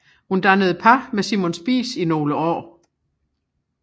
Hun dannede par med Simon Spies i nogle år